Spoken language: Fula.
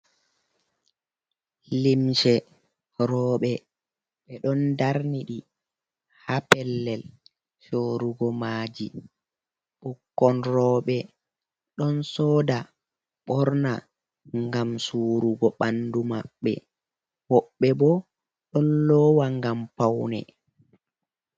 Limce roobe be ɗon ɗarniɗi ha pellel sorugo maji. Bukkon rooɓe ɗon soɗa borna ngam surugo banɗu mabbe. Wobbe bo ɗon lowa ngam paune.